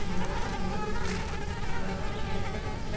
மாநாட்டில் பங்கு பெற்றவர்களால் கிடத்தப்பட்ட